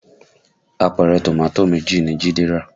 Àpẹrẹ Tomato méjì ni Jide rà